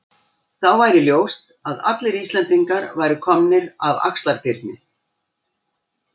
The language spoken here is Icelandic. Þá væri ljóst að allir Íslendingar væru komnir af Axlar-Birni.